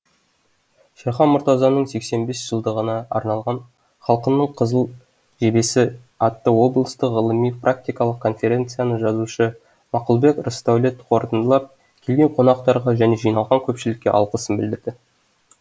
шерхан мұртазаның сексен бес жылдығына арналған халқының қызыл жебесі атты облыстық ғылыми практикалық конференцияны жазушы мақұлбек рысдәулет қорытындылап келген қонақтарға және жиналған көпшілікке алғысын білдірді